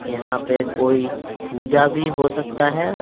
यहाँ पे कोई पूजा भी हो सकता है।